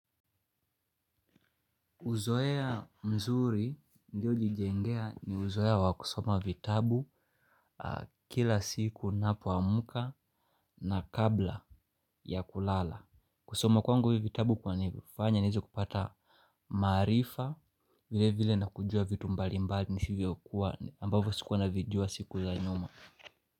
Uzoea mzuri ndio ulijengea ni uzoea wa kusoma vitabu kila siku ninapoamka na kabla ya kulala. Kusoma kwangu hivi vitabu kwanifanya niwezekupata maarifa vile vile na kujua vitu mbalimbali nisivyokuwa ambavyo sikuwa navijua siku za nyuma.